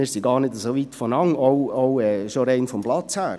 Wir liegen gar nicht so weit auseinander, auch schon rein vom Platz her.